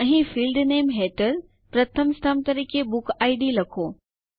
અહીં ફિલ્ડ નામે હેઠળ પ્રથમ સ્તંભ તરીકે બુકિડ લખો